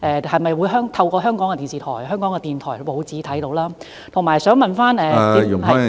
是否可以透過香港的電視台、香港電台和報章上看到？